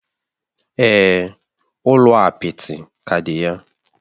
Èè, ụlọ apịtị ka dị ya.